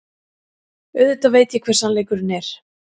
Auðvitað veit ég hver sannleikurinn er.